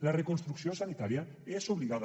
la reconstrucció sanitària és obligada